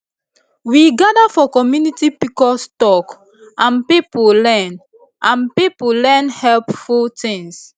we gather for community pcos talk and people learn and people learn plenty helpful things